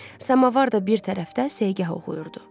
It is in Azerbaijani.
Samavar da bir tərəfdə segah oxuyurdu.